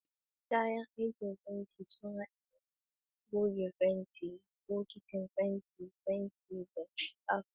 Kayan aikin fenti sun haɗa da goge fenti, bokitin fenti, fenti, da scrapers.